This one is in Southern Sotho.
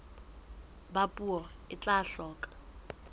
ba puo e tla hloka